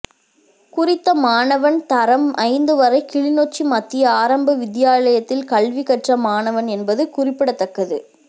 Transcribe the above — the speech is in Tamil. குறித்த மாணவன் தரம் ஐந்து வரை கிளிநொச்சி மத்திய ஆரம்ப வித்தியாலயத்தில் கல்வி கற்ற மாணவன் என்பது குறிப்பிடத்தக்கது